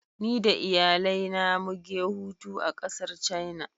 Ni da iyalai na mu ge hutu a kasar china.